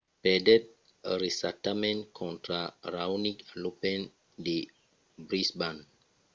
perdèt recentament contra raonic a l’open de brisbane